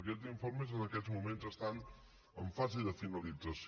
aquests informes en aquests moments estan en fase de finalització